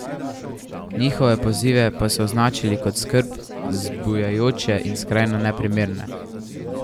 Njihove pozive pa so označili kot skrb zbujajoče in skrajno neprimerne.